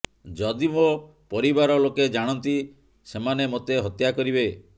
ଯଦି ମୋ ପରିବାର ଲୋକେ ଜାଣନ୍ତି ସେମାନେ ମୋତେ ହତ୍ୟା କରିବେ